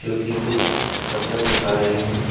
जो कि कुछ करतब दिखा रहे हैं।